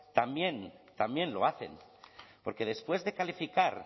también también lo hacen porque después de calificar